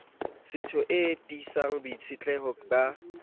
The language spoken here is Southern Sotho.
setho e tiisang boitshetleho ba